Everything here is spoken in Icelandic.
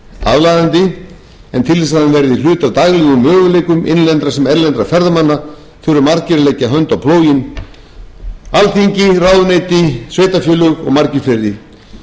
aðlaðandi en til þess að hann verði hluti af daglegum möguleikum innlendra sem erlendra ferðamanna þurfa margir að leggja hönd á plóginn alþingi ráðuneyti sveitarfélög og margir fleiri því að hér er um